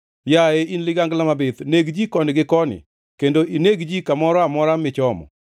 Yaye in ligangla mabith neg ji koni gi koni, kendo ineg ji kamoro amora michomo.